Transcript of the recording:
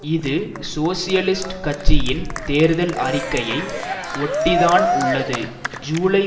இது சோசியலிஸ்ட் கட்சியின் தேர்தல் அறிக்கையை ஒட்டி தான் உள்ளது ஜூலை